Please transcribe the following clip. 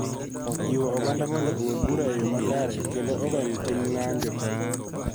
Jiwo oganda mondo ogol bura e yo makare kendo ogeng� tim ng�anjo.